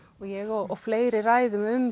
ég og fleiri ræðum um